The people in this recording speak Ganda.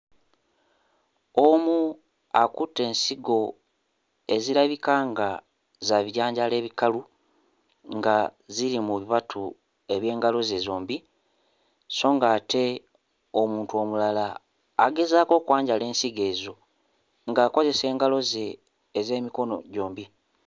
Omu akutte ensigo ezirabika nga za bijanjaalo ebikalu nga ziri mu bibatu eby'engalo ze zombi so ng'ate omuntu omulala agezaako okwanjala ensigo ezo ng'akozesa engalo ze ez'emikono gyombi.